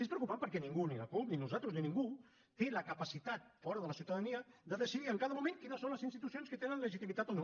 és preocupant perquè ningú ni la cup ni nosaltres ni ningú té la capacitat fora de la ciutadania de decidir en cada moment quines són les institucions que tenen legitimitat o no